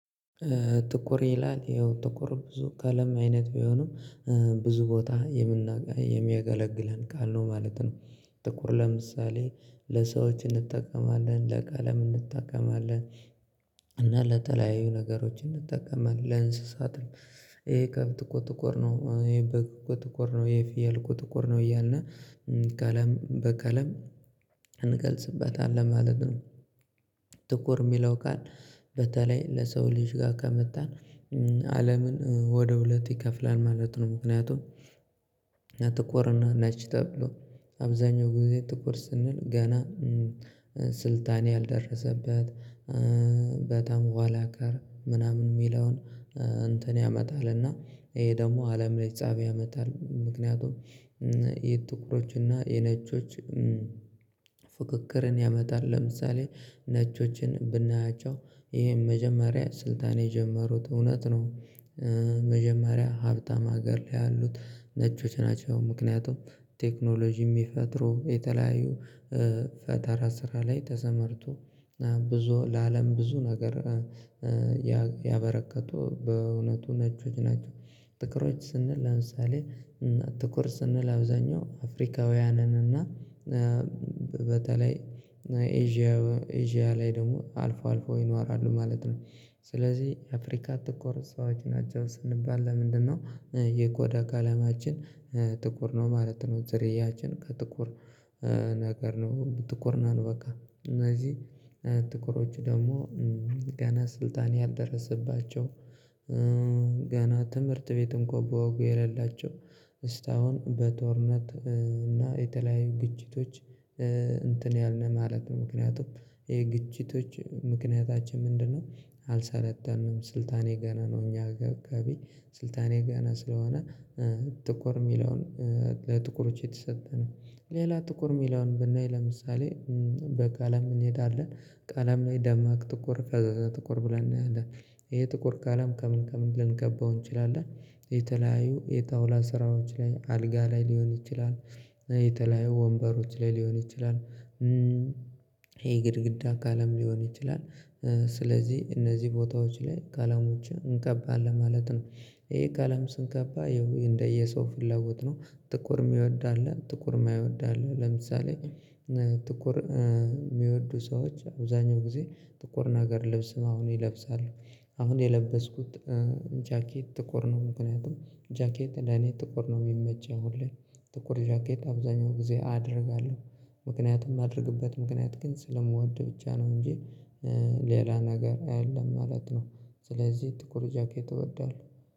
ጥቁር ይላል ይኸው ጥቁር ብዙ ቀለም አይነት ቢሆንም ብዙ ቦታ የምና የሚያገለግለን ቃል ነው ማለት ነው። ጥቁር ለምሳሌ ለሰዎች እንጠቀማለን ለቀለም እንጠቀማለን። እና ለተለያዩ ነገሮች እንጠቀማለን ለእንስሳትም። ይሄ ከብት እኮ ጥቁር ይሄ በግ እኮ ጥቁር ነው ይሄ ፍየል እኮ ጥቁር ነው እያልን። ቀለም በቀለም እንገልጽ ማለት ነው። ጥቁር የሚለው ቃል በተለይ ለሰው ልጅ ጋር ከመጣን አለምን ወደ ሁለት ይከፍላል ማለት ነው። ምክንያቱም ጥቁር እና ነጭ ተብሎ አብዛኛው ጊዜ ጥቁር ስንል ገና ስልጣን ያልደረሰበት በጣም ኋላ ቀር ምናምን የሚለውን እንትን ያመጣልና ይሄ ደግሞ አለም ላይ ፀብ ያመጣል። ምክንያቱም የጥቁሮች እና የነጮች ፍክክርን ያመጣል። ለምሳሌ ነጮችን ብናያቸው ይሄን መጀመሪያ ስልጣን የጀመሩት እውነት ነው። መጀመሪያ ሀብታም ሀገር ላይ ያሉት ነጮች ናቸው። ምክንያቱም ቴክኖሎጂ የሚፈጥሩ የተለያዩ ፈጠራ ስራ ላይ ተሰማርቶ ብዙ ለአለም ብዙ ነገር ያበረከቱ በእውነቱ ነጮች ናቸው። ጥቁሮች ስንል አምሳሌ እና ጥቁር ስንል አብዛኛው አፍሪካውያንን እና በተለይ ኤዥያ ኤዥያ ላይ ደግሞ አልፎ አልፎ ይኖራሉ ማለት ነው። ስለዚህ አፍሪካ ጥቁር ሰዎች ናቸው ስንባል ለምንድነው የቆዳ ቀለማችን ጥቁር ነው ማለት ነው። ዝርያችን ከጥቁር ነገር ነው ጥቁር ነን በቃ እነዚህ ጥቁሮቹ ደግሞ ገና ስልጣን ያልደረሰባቸው። ገና ትምህርት ቤትም እንኳን በወጉ የሌላቸው እስታሁን በጦርነት እና የተለያዩ ግጭቶች እንትን ያልን ማለት ነው። ምክንያቱም የግጭቶች ምክንያታችን ምንድነው? አልሰለጠንም ስልጣኔ የገና ነው። እኛ ገቢ ስልጣኔ ገና ስለሆነ ጥቁር የሚለውን ለጥቁሮች የተሰጠ ነው። ሌላ ጥቁር የሚለውን ብናይ ለምሳሌ በቃ ለም እንሄዳለን ቃለም ላይ ደማቅ ጥቁር ፈዛዛ ጥቁር ብለን እናያለን። ይሄ ጥቁር ቀለም ከምን ከምን ልንቀባው እንችላለን። የተለያዩ የጣውላ ስራዎች ላይ አልጋ ላይ ሊሆን ይችላል። የተለያዩ ወንበሮች ላይ ሊሆን ይችላል። ይሄ ግድግዳ ቀለም ሊሆን ይችላል። ስለዚህ እነዚህ ቦታዎች ላይ ቀለሞችን እንቀባለን ማለት ነው። ይሄ አለም ስንቀባ እንደየሰው ፍለጉት ነው። ጥቁር የሚወድ አለ ጥቁር የማይወድ አለ። ለምሳሌ ጥቁር የሚወዱ ሰዎች አብዛኛው ጊዜ ጥቁር ነገር ልብስም አሁን ይለብሳሉ። አሁን የለበስኩት ጃኬት ጥቁር ነው። ምክንያቱም ጃኬት ለኔ ጥቁር ነው የሚመቸኝ ሁሌ ጥቁር ጃኬት አብዛኛው ጊዜ አደርጋለሁ። ምክንያቱም ማደርግበት ምክንያት ግን ስለምወድ ብቻ ነው እንጂ ሌላ ነገር አይደለም ማለት ነው። ስለዚህ ጥቁር ጃኬት እወዳለሁ